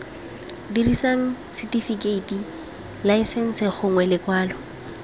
dirisang setifikeiti laesense gongwe lekwalo